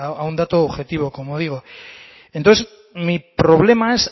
a un objetivo como digo entonces mi problema es